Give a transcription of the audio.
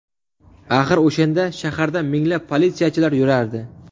Axir o‘shanda shaharda minglab politsiyachilar yurardi.